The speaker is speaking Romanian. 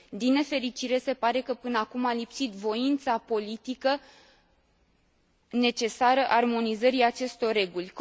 Din nefericire, se pare că, până acum, a lipsit voința politică necesară armonizării acestor reguli.